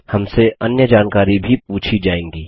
हमसे अन्य जानकारी भी पूछी जाएँगी